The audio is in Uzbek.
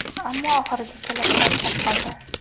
Ammo, oxiriga kelib charchab qoldi.